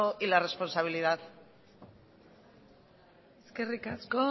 y la responsabilidad eskerrik asko